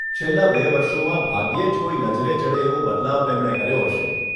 છેલ્લાં બે વર્ષોમાં ભાગ્યે જ કોઈ નજરે ચડે એવો બદલાવ તેમણે કર્યો હશે.